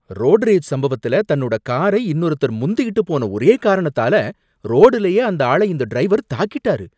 road rage சம்பவத்துல, தன்னோட காரை இன்னொருத்தர் முந்திட்டு போன ஒரே காரணத்தால, ரோடுலயே அந்த ஆளை இந்த டிரைவர் தாக்கிட்டாரு